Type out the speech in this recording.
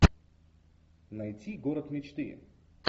найти город мечты